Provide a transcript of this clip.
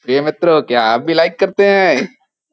ये मित्रो क्या आप भी लाइक करते हैं।